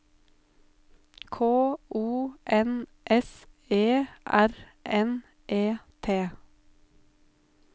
K O N S E R N E T